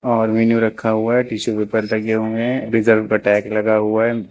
और मेनू रखा हुआ है टिशू पेपर रखे हुए है रिजर्व का टैग लगा हुआ है।